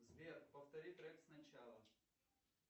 сбер повтори трек сначала